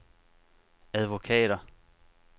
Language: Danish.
advokater